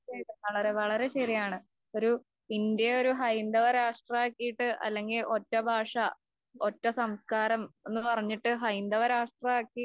വളരെ വളരെ ശെരിയാണ്. ഒരു ഇന്ത്യ ഒരു ഹൈന്ദവ രാഷ്ട്രമാക്കിയിട്ട് അല്ലെങ്കിൽ ഒറ്റ ഭാഷ ഒറ്റ സംസ്കാരം എന്ന് പറഞ്ഞിട്ട് ഹൈന്ദവരാഷ്ട്രമാക്കി